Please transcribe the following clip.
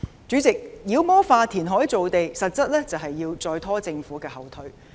主席，妖魔化填海造地實質是要再拖政府後腿。